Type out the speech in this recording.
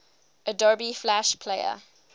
adobe flash player